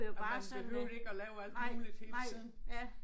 Og behøvede ikke at lave alt muligt hele tiden